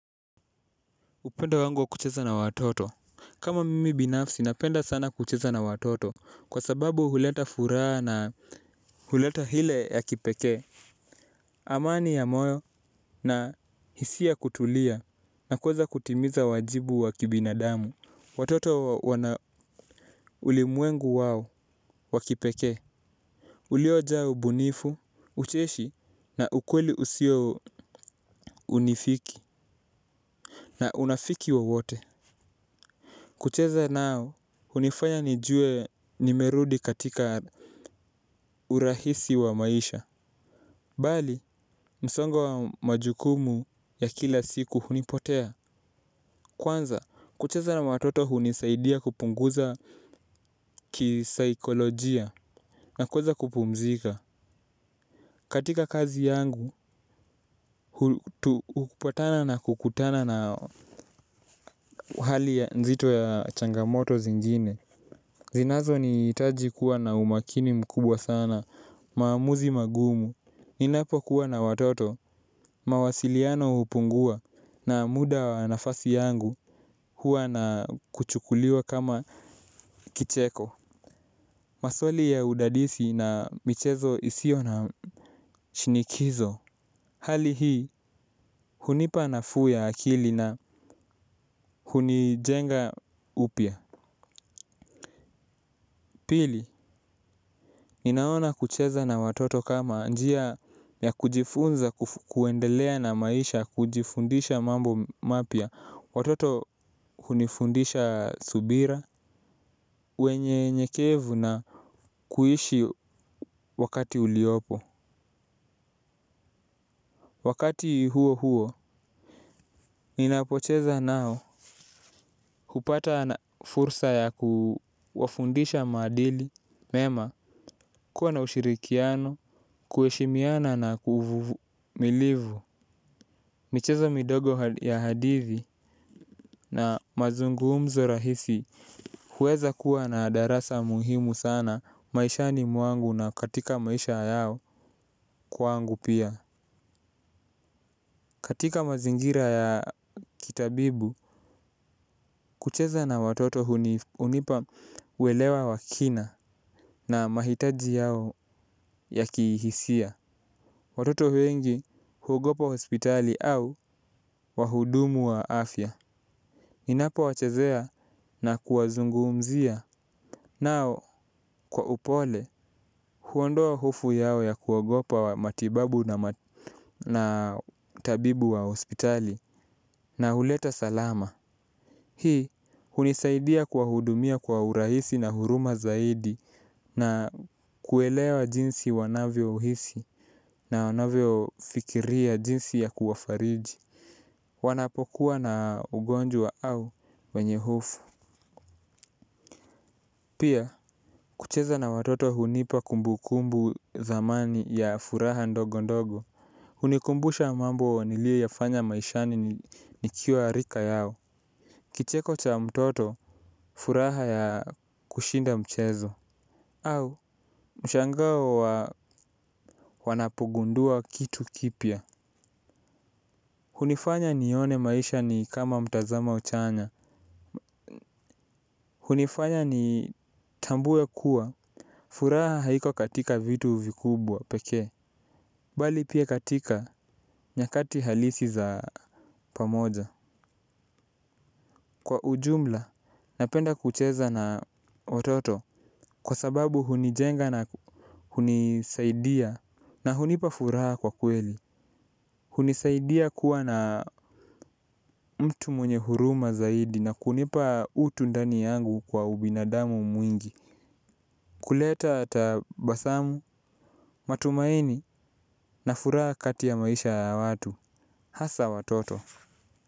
Upenda wangu wa kucheza na watoto. Kama mimi binafsi napenda sana kucheza na watoto. Kwa sababu huleta furaha na huleta hile ya kipeke amani ya moyo na hisia kutulia nakuweza kutimiza wajibu wa kibinadamu watoto wana ulimwengu wao wa kipeke uliojaa ubunifu ucheshi na ukweli usio unifiki na unafiki wowote. Kucheza nao, hunifanya nijue nimerudi katika urahisi wa maisha. Bali msongo wa majukumu ya kila siku hunipotea. Kwanza, kucheza na watoto hunisaidia kupunguza kisaikolojia na kuweza kupumzika. Katika kazi yangu hupatana na kukutana na hali nzito ya changamoto zingine zinazo niitaji kuwa na umakini mkubwa sana, maamuzi magumu. Ninapo kuwa na watoto, mawasiliano hupungua na muda wa nafasi yangu huwa na kuchukuliwa kama kicheko. Masoli ya udadisi na michezo isio na shinikizo. Hali hii, hunipa nafuu ya akili na hunijenga upya. Pili, ninaona kucheza na watoto kama njia ya kujifunza kuendelea na maisha kujifundisha mambo mapya. Watoto hunifundisha subira, wenye nyekevu na kuishi wakati uliopo. Wakati huo huo, ninapocheza nao hupata na fursa ya kuwafundisha maadili mema kuwa na ushirikiano kueshimiana nakuwa na kuvuvumilivu. Michezo midogo ya hadithi na mazungumzo rahisi huweza kuwa na darasa muhimu sana maisha ni mwangu na katika maisha yao kwangu pia. Katika mazingira ya kitabibu, kucheza na watoto hunipa uwelewa wa kina na mahitaji yao ya kihisia. Watoto wengi huogopa hospitali au wahudumu wa afya. Ninapo wachazea na kuwazungumzia. Nao kwa upole huondoa hofu yao ya kuogopa matibabu na tabibu wa hospitali na huleta salama. Hii hunisaidia kuwahudumia kwa urahisi na huruma zaidi na kuelewa jinsi wanavyohisi na wanavyo fikiria jinsi ya kuwafariji. Wanapokuwa na ugonjwa au wenye hofu. Pia kucheza na watoto hunipa kumbu kumbu zamani ya furaha ndogo ndogo. Unikumbusha mambo nilie yafanya maishani nikiwa rika yao. Kicheko cha mtoto furaha ya kushinda mchezo au mshangao wa wanapogundua kitu kipya. Hunifanya nione maisha ni kama mtazamo uchanya. Hunifanya ni tambuwe kuwa furaha haiko katika vitu vikubwa peke bali pia katika nyakati halisi za pamoja kwa ujumla napenda kucheza na watoto. Kwa sababu hunijenga na hunisaidia na hunipa furaha kwa kweli. Hunisaidia kuwa na mtu mwenye huruma zaidi. Na kunipa utu ndani yangu kwa ubinadamu mwingi. Kuleta tabasamu matumaini na furaha kati ya maisha ya watu hasa watoto.